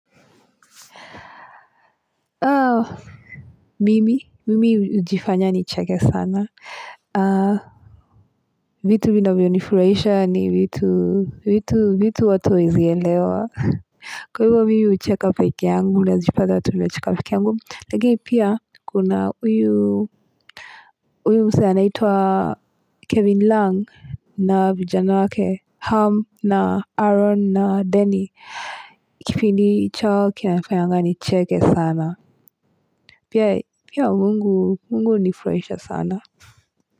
Mimi hujifanya nicheke sana vitu vinavyo nifuraisha ni vitu watu hawaezielewa kwa hivyo mimi ucheka peke yangu najipata tu nacheka pekee yangu lakini pia kuna huyu uyu msee anaitua kevin lang na vijano wake ham na aron na denny kipindi chao kinafayanga nicheke sana pia Mungu hunifurahisha sana.